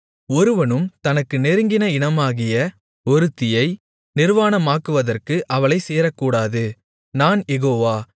ஒருவனும் தனக்கு நெருங்கின இனமாகிய ஒருத்தியை நிர்வாணமாக்குவதற்கு அவளைச் சேரக்கூடாது நான் யெகோவா